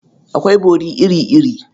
Akwai bori iri-iri.